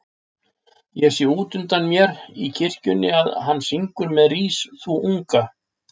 Ég sé útundan mér í kirkjunni að hann syngur með Rís þú unga